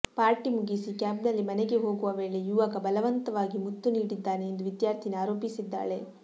party ಮುಗಿಸಿ ಕ್ಯಾಬ್ನಲ್ಲಿ ಮನೆಗೆ ಹೋಗುವ ವೇಳೆ ಯುವಕ ಬಲವಂತವಾಗಿ ಮುತ್ತು ನೀಡಿದ್ದಾನೆ ಎಂದು ವಿದ್ಯಾರ್ಥಿನಿ ಆರೋಪಿಸಿದ್ದಾಳೆ